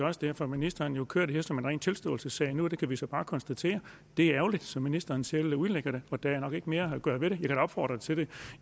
også derfor at ministeren kører det her som ren tilståelsessag nu kan vi så bare konstatere at det er ærgerligt som ministeren selv udlægger det og der er nok ikke mere at gøre ved det end at opfordre til det